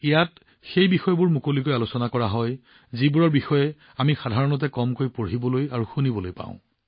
ইয়াত সেই বিষয়বোৰ মুকলিকৈ আলোচনা কৰা হয় যিবোৰৰ বিষয়ে আমি সাধাৰণতে কম পঢ়িবলৈ আৰু শুনিবলৈ পাওঁ